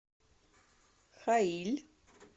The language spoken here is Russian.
хаиль